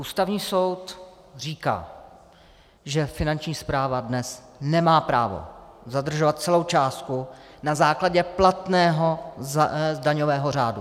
Ústavní soud říká, že Finanční správa dnes nemá právo zadržovat celou částku na základě platného daňového řádu.